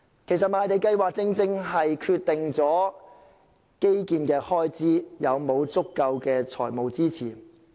其實，賣地計劃正是決定基建開支是否有足夠的財務支持。